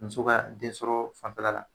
Muso ka den sɔrɔ fanfɛla la.